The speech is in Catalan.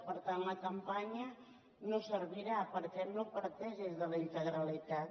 per tant la campanya no servirà perquè no parteix de la integralitat